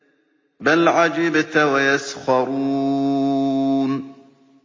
بَلْ عَجِبْتَ وَيَسْخَرُونَ